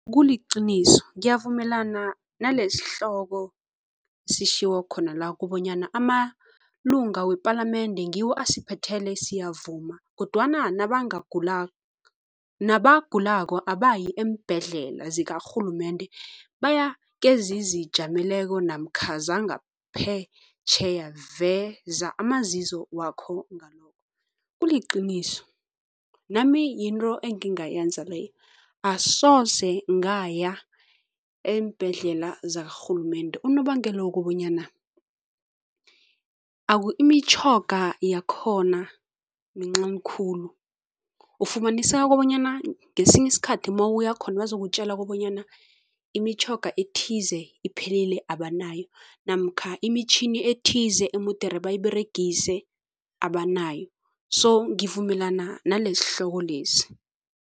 kuliqiniso, ngiyavumelana nalesihloko sishiwo khona la kubonyana amalunga wepalamende ngiwo asiphethela, siyavuma kodwana nabagulako abayi eembhedlela zakarhulumende, baya kezizijameleko namkha zangaphetjheya. Veza amazizo wakho ngalokho, kuliqiniso, nami yinto engingayenza leyo. Asoze ngaya eembhedlela zakarhulumende. Unobangela ukobanyana imitjhoga yakhona mincani khulu. ufumaniseka kobanyana ngesinye isikhathi mawuya khona bazokutjala kobanyana imitjhoga ethize iphelile abanayo namkha imitjhini ethize emudere bayiberegise abanayo so ngivumelana nalesihloko lesi.